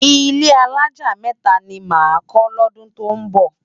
Ilé álájá mèfá ni má kò lòdún tó nbò